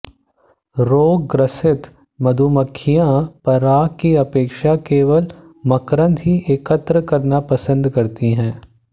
रोगग्रसित मधुमक्खियाँ पराग की अपेक्षा केवल मकरंद ही एकत्र करना पसंद करती है